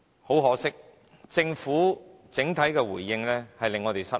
很可惜，政府整體的回應令我們失望。